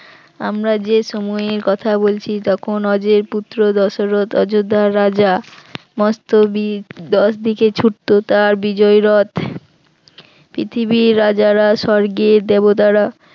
আমরা যে সময়ের কথা বলছি তখন অজেয় পুত্র দশরথ অযোধ্যার রাজা মস্ত বীর দশদিকে ছুটতো তার বিজয়ী রথ, পৃথিবীর রাজারা স্বর্গের দেবতারা